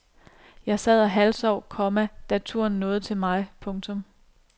Jeg sad og halvsov, komma da turen nåede til mig. punktum